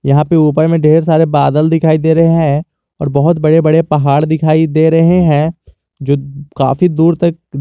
यहां पर ऊपर में ढेर सारे बादल दिखाई दे रहे हैं और बहुत बड़े बड़े पहाड़ दिखाई दे रहे हैं जो काफी दूर तक दी--